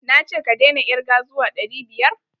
Na ce ka daina irge zuwa ɗari biyar?